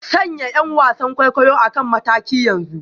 Sanya 'yan wasan kwaikwayo a kan mataki yanzu